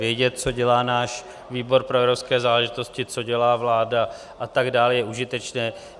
Vědět, co dělá náš výbor pro evropské záležitosti, co dělá vláda a tak dále, je užitečné.